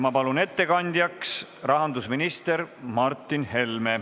Ma palun ettekandjaks rahandusminister Martin Helme!